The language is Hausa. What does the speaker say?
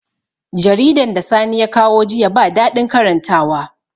Jaridan da sani ya kawo jiya ba daɗin karantawa